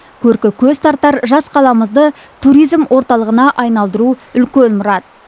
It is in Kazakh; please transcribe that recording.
көркі көз тартар жас қаламызды туризм орталығына айналдыру үлкен мұрат